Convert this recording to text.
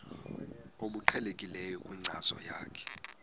obuqhelekileyo kwinkcazo yakho